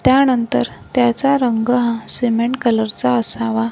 त्यानंतर त्याचा रंग हा सिमेंट कलरचा असावा.